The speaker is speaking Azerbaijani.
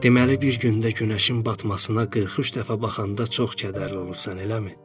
Deməli bir gündə günəşin batmasına 43 dəfə baxanda çox kədərli olubsan, eləmi?